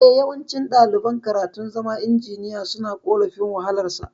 Eh, yawanci ɗaliban karatun zama injiniya suna korafin wahalar sa